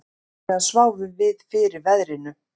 Allavega sváfum við fyrir veðrinu